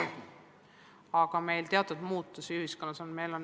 Aga teatud muutusi meil ühiskonnas on.